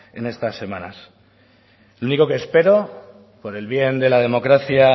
en estas semanas lo único que espero por el bien de la democracia